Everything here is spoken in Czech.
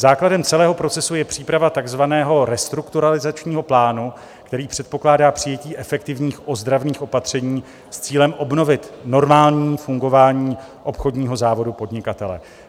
Základem celého procesu je příprava takzvaného restrukturalizačního plánu, který předpokládá přijetí efektivních ozdravných opatření s cílem obnovit normální fungování obchodního závodu podnikatele.